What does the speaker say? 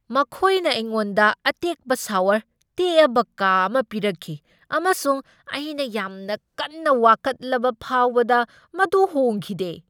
ꯃꯈꯣꯏꯅ ꯑꯩꯉꯣꯟꯗ ꯑꯇꯦꯛꯄ ꯁꯥꯋꯔ ꯇꯦꯛꯑꯕ ꯀꯥ ꯑꯃ ꯄꯤꯔꯛꯈꯤ ꯑꯃꯁꯨꯡ ꯑꯩꯅ ꯌꯥꯝꯅ ꯀꯟꯅ ꯋꯥꯀꯠꯂꯕ ꯐꯥꯎꯕꯗ ꯃꯗꯨ ꯍꯣꯡꯈꯤꯗꯦ꯫